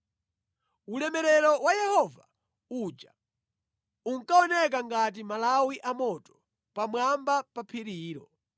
Ulemerero wa Yehova uja unkaoneka ngati malawi a moto pamwamba pa phirilo.